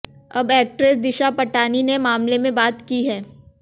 अब एक्ट्रेस दिशा पटानी ने मामले में बात की है